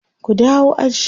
ku dawo aji!